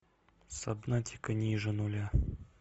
сабнатика ниже нуля